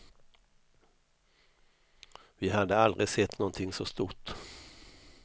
Vi hade aldrig sett någonting så stort.